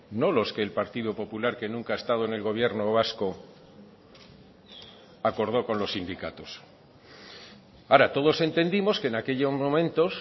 no los que el partido popular que nunca ha estado en el gobierno vasco acordó con los sindicatos ahora todos entendimos que en aquellos momentos